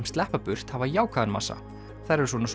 sleppa burt hafa jákvæðan massa þær eru svona